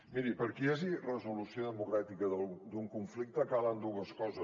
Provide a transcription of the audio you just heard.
miri perquè hi hagi resolució democràtica d’un conflicte calen dues coses